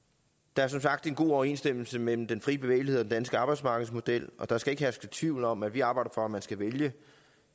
der er som sagt en god overensstemmelse mellem den fri bevægelighed og den danske arbejdsmarkedsmodel og der skal ikke herske tvivl om at vi arbejder for at man skal vælge